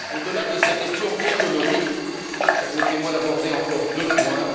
Au delà de ces questions économiques, permettez moi d'aborder encore deux points.